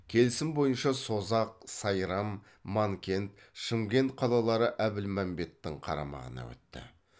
келісім бойынша созақ сайрам манкент шымкент қалалары әбілмәмбеттің қарамағына өтті